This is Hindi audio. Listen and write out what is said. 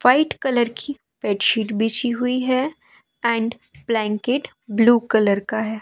व्हाइट कलर की बेड शीट बिछी हुई है एंड ब्लैंकेट ब्लू कलर का है।